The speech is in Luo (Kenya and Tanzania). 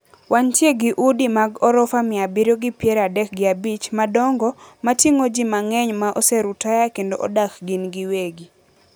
Wantie gi udi mag orofa mia abiriyo gi pier adek gi abich madongo mating`o ji mang`eny ma oserutaya kendo odak gin giwegi